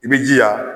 I b'i jija